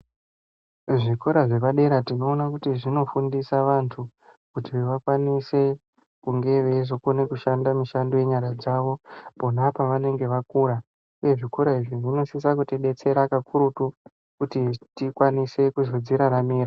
Zvikora zvepa dera tinoona kuti zvino fundisa vantu kuti vakwanise kunge veizo kone kushanda mishando ye nyara dzavo pona pavanenge vakura uye zvikora izvi zvino sisa kuti detsera kakurutu kuti tikwanise kuzodzi raramira.